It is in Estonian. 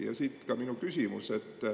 Ja siit ka minu küsimus.